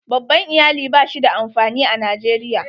Babban Iyali ba shi da amfani a Najeriya.